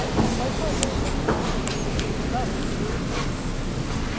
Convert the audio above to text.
Aí o papai fazia essas postas para vender.